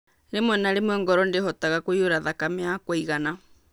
Rĩmwe na rĩmwe, ngoro ndihotaga kũiyũra thakame ya kũigana.